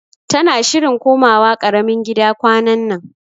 Tana shirin komawa karamin gida kwanannan